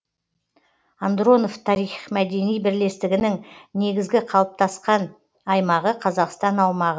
андронов тарих мәдени бірлестігінің негізгі қалыптасқан аймағы қазақстан аумағы